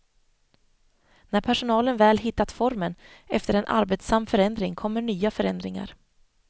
När personalen väl hittat formen efter en arbetsam förändring kommer nya förändringar.